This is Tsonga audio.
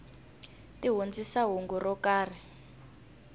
ti hundzisa hungu ro karhi